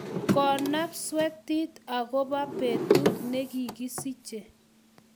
konap swetet akobo betut ne kikisich